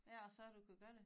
Ja og så du kunne gøre det